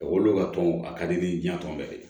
A wolo ka tɔn a ka di ni diɲan tɔn bɛɛ de